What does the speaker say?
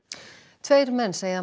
tveir menn segja að